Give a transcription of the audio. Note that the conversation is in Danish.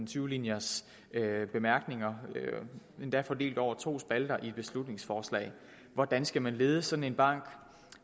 tyve linjers bemærkninger endda fordelt over to spalter i beslutningsforslaget hvordan skal man lede sådan en bank